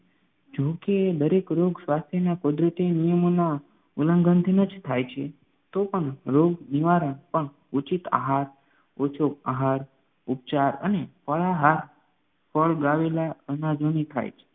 જો કે દરેક રોગ સ્વાસ્થ્યના કુદરતી નિયમોના ઉલ્લંઘનથી ન જ થાય છે તોપણ રોગ નિવારણ પણ ઉચિત આહાર, ઓછો આહાર ઉપચાર અને ફળાહાર ફળ વાવેલા અનાજોથી થાય છે